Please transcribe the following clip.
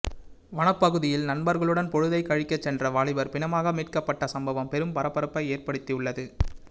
வனப்பகுதியில் நண்பர்களுடன் பொழுதைக் கழிக்க சென்ற வாலிபர் பிணமாக மீட்கப்பட்ட சம்பவம் பெரும் பரபரப்பை ஏற்படுத்தியுள்ளது